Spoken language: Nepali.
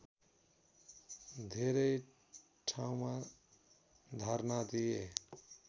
धेरै ठाउँमा धर्ना दिए